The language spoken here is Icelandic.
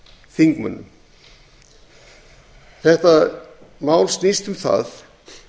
þingmönnum þetta mál snýst um það